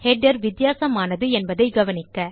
header வித்தியாசமானது என்பதை கவனிக்க